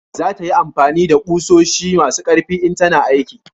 za ta yi amfani da ƙusoshi masu karfi in tana aiki